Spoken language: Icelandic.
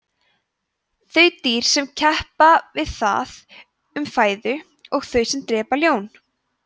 þau dýr sem keppa við það um fæðu og þau sem drepa ljón